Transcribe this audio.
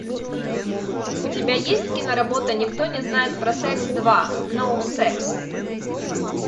у тебя есть кино работа никто не знает про секс два ноу секс